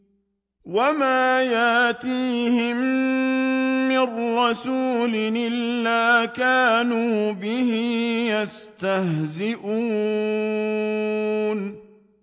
وَمَا يَأْتِيهِم مِّن رَّسُولٍ إِلَّا كَانُوا بِهِ يَسْتَهْزِئُونَ